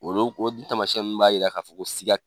Olu ko o tamasiyɛn nunnu b'a yira k'a fɔ ko siga